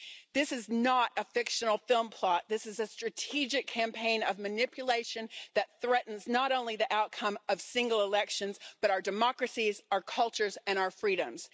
This is not a fictional film plot this is a strategic campaign of manipulation that threatens not only the outcome of single elections, but also our democracies, our cultures and our freedoms.